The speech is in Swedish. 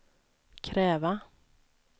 kräva